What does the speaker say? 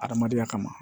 Adamadenya kama